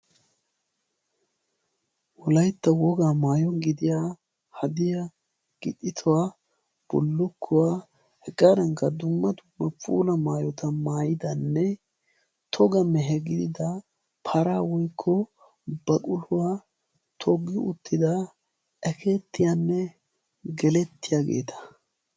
Wolaytta wogaa maayo gidiya hadiya gixxituwaa bollokkuwaa hegaadankga dumma dumma puula maayota maayidanne toga mehe gidida para woikko baquluwaa toogii uttida a keettiyaanne gelettiyaageeta.